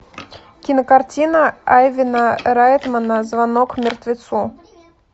кинокартина айвена райтмана звонок мертвецу